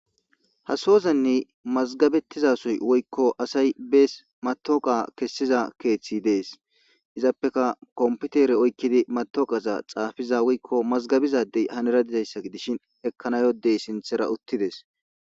Ha soozan mazigabetida assayi dessi matoqa kessida kethi desi izapeka kompitere oyikidi xafiza woyi mazagabiza adey henira dishin ekanawu yiza adey henira utides